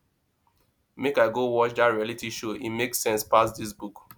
make i go watch dat reality show e make sense pass dis book